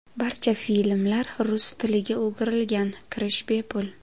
Barcha filmlar rus tiliga o‘girilgan, kirish bepul.